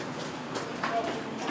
Bu gəlib gərəkdir.